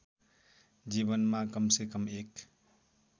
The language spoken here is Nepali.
जीवनमा कमसेकम एक